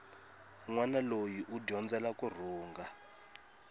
nwana loyi u dyondzela kurhunga